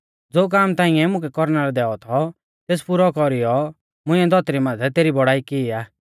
ज़ो काम ताइंऐ मुकै कौरना लै दैऔ थौ तेस पुरौ कौरीऔ मुंइऐ धौतरी माथै तेरी बौड़ाई की आ